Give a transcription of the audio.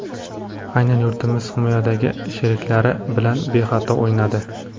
Aynan hamyurtimiz himoyadagi sheriklari bilan bexato o‘ynadi.